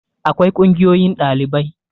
akwai kungiyoyin ɗalibai